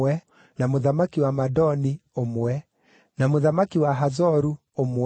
na mũthamaki wa Madoni, ũmwe, na mũthamaki wa Hazoru, ũmwe,